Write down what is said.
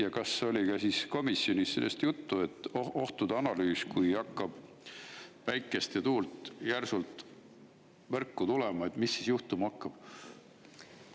Ja kas oli ka komisjonis sellest juttu, et ohtude analüüs, kui hakkab päikest ja tuult järsult võrku tulema, mis siis juhtuma hakkab?